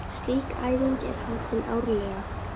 Slík æfing er haldin árlega.